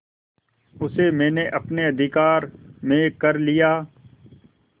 उसे मैंने अपने अधिकार में कर लिया